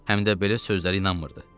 Həm də belə sözlərə inanmırdı.